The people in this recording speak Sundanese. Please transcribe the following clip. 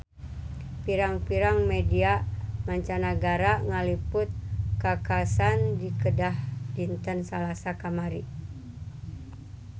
Pirang-pirang media mancanagara ngaliput kakhasan di Kedah dinten Salasa kamari